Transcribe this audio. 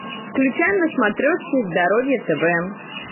включай на смотрешке здоровье тв